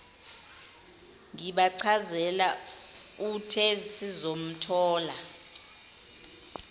ngibachazela uthe sizomthola